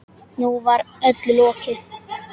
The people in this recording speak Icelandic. Nú var öllu lokið.